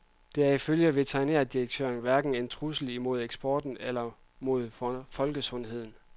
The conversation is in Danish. Det er ifølge veterinærdirektøren hverken en trussel imod eksporten eller imod folkesundheden.